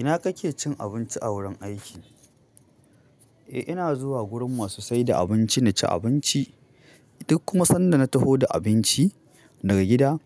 Ina kake cin abinci a wurin aiki? Eh ina zuwa gurin masu saida abinci na ci abinci. Duk kuma sanda na taho da abinci daga gida,